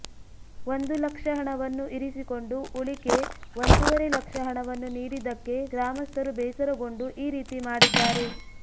ಒಂದು ಲಕ್ಷ ಹಣವನ್ನು ಇರಿಸಿಕೊಂಡು ಉಳಿಕೆ ಒಂದೂವರೆ ಲಕ್ಷ ಹಣವನ್ನು ನೀಡಿದಕ್ಕೆ ಗ್ರಾಮಸ್ಥರು ಬೇಸರಗೊಂಡು ಈ ರೀತಿ ಮಾಡಿದ್ದಾರೆ